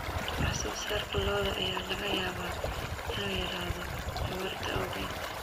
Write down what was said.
Wax soo saarka lo'da ayaa laga yaabaa inuu yaraado abaarta awgeed.